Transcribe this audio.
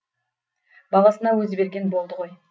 баласына өзі берген болды ғой